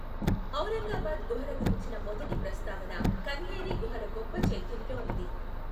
ఔరంగాబాద్ గుహల గురించిన మొదటి ప్రస్తావన కన్హేరి గుహల గొప్ప చైత్యంలో ఉంది.